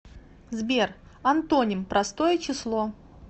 сбер антоним простое число